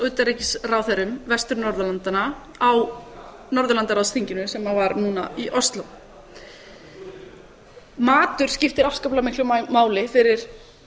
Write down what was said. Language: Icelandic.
utanríkisráðherrum vestur norðurlandanna á norðurlandaráðsþinginu sem var núna í og fleira matur skiptir afskaplega miklu máli fyrir